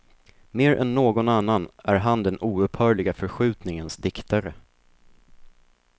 Mer än någon annan är han den oupphörliga förskjutningens diktare.